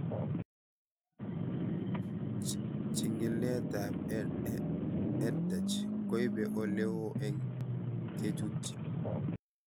Chig'ilet ab EdTech koipe ole oo eng' kechutchi